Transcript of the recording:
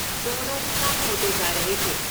दोनों, कम होते जा रहे थे।